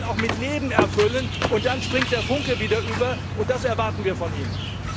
Man muss die Rollen auch mit Leben erfüllen, und dann springt der Funke wieder über. Das erwarten wir von Ihnen.